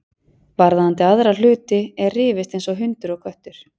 Varðandi aðra hluti er rifist eins og hundur og köttur.